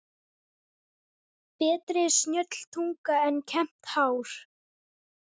Betri er snjöll tunga en kembt hár.